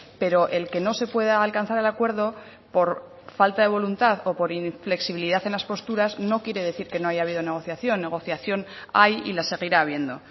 pero el que no se pueda alcanzar el acuerdo por falta de voluntad o por inflexibilidad en las posturas no quiere decir que no haya habido negociación negociación hay y la seguirá habiendo